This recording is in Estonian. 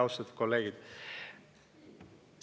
Austatud kolleegid!